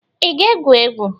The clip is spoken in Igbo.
ị ga-egwu egwu?